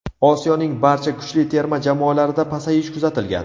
Osiyoning barcha kuchli terma jamoalarida pasayish kuzatilgan.